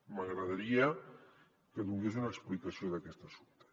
m’agradaria que donés una explicació d’aquest assumpte